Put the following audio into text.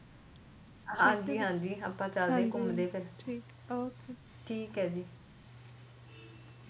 ਹਾਂਜੀ ਹਾਂਜੀ ਅਪਾ ਚਲਦੇ ਘੁੰਮਦੇ ਠੀਕ ਏ ਜੀ